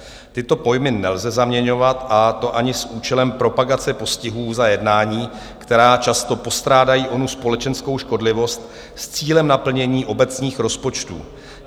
Tyto pojmy nelze zaměňovat, a to ani s účelem propagace postihu za jednání, která často postrádají onu společenskou škodlivost, s cílem naplnění obecných rozpočtů.